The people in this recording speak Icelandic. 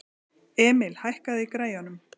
Emil, hækkaðu í græjunum.